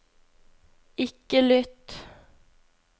ikke lytt